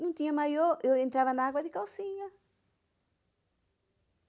Não tinha maiô, eu entrava na água de calcinha.